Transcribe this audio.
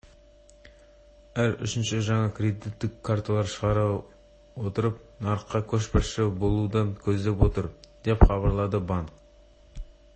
әр үшінші жаңа кредиттік карталарды шығара отырып нарықта көшбасшы болуды көздеп отыр деп хабарлады банк